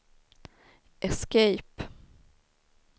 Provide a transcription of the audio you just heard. escape